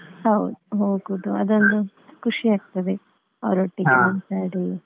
ಹೌದು ಹೋಗುದು ಅದೊಂದು ಖುಷಿ ಆಗ್ತದೆ.